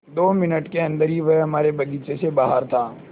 दो मिनट के अन्दर ही वह हमारे बगीचे से बाहर था